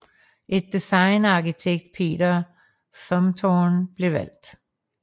Et design af arkitekt Peter Zumthor blev valgt